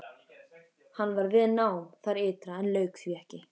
Hann var við nám þar ytra en lauk því ekki.